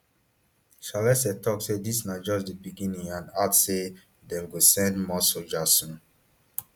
salesses tok say dis na just di beginning and add say dem go send more sojas soon